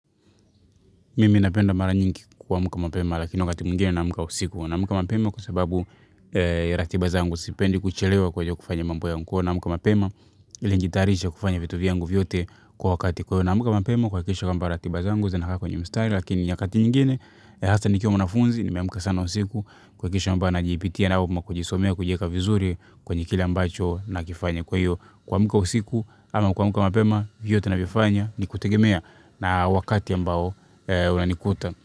Mimi napenda mara nyingi kuamka mapema, lakini wakati mwingine naamka usiku. Naamka mapema kwa sababu ya ratiba zangu, sipendi kuchelewa kwenye kufanya mambo yangu, kwahiyo naamka mapema ili nijitayarishe kufanya vitu vyangu vyote kwa wakati. Kwa hiyo namka mapema kuhakikisha kwamba ratiba zangu zinakaa kwenye mstari, lakini nyakati nyingine, hasa nikiwa mwanafunzi, nimeamka sana usiku, kuhakikisha kwamba najipitia na au kujisomea, kujieka vizuri kwenye kile ambacho nakifanya. Kwa hiyo, kuamka usiku ama kuamka mapema vyote navifanya ni kutegemea na wakati ambao unanikuta.